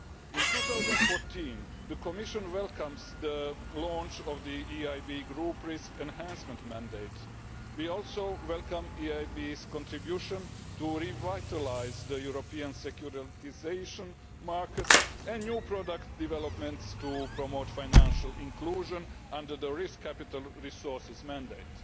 In 2014, the Commission welcomed the launch of the EIB group Risk Enhancement Mandate We also welcome the EIB's contribution to revitalising the European securitisation market and new product developments to promote financial inclusion under the Risk Capital Resources mandate.